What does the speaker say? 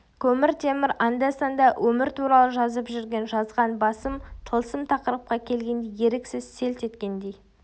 көмір темір анда-санда өмір туралы жазып жүрген жазған басым тылсым тақырыпқа келгенде еріксіз селт еткендей